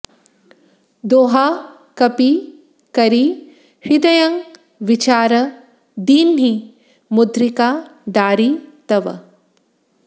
दोहा कपि करि हृदयँ बिचार दीन्हि मुद्रिका डारि तब